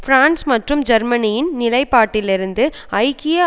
France மற்றும் ஜெர்மனியின் நிலைப்பாட்டிலிருந்து ஐக்கிய